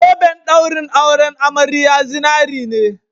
Zoben ɗaurin auren amariya zinare ne